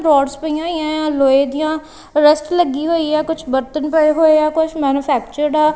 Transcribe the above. Roads ਪਈਆਂ ਹੋਈਆਂ ਹੈ ਲੋਏ ਦੀਆਂ ਰਸਟ ਲੱਗੀ ਹੋਈ ਆ ਕੁਝ ਬਰਤਨ ਪਏ ਹੋਏ ਆ ਕੁਝ ਮੈਨੂਫੈਕਚਰਡ ਆ।